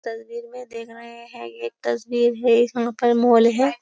तस्वीर है है एक तस्वीर है यहाँ पर मोल है।